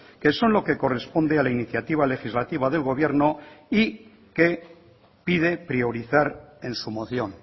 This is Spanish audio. que son lo que corresponde a la iniciativa legislativa del gobierno y que pide priorizar en su moción